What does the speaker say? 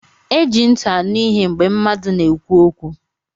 E ji ntị anụ ihe mgbe mmadụ na-ekwu okwu